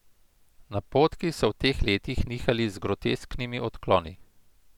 Napotki so v teh letih nihali z grotesknimi odkloni.